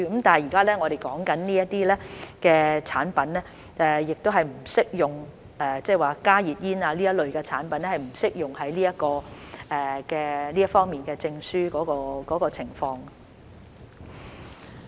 但現在我們說的產品──即加熱煙這一類的產品──是不適用於這方面的證書的情況。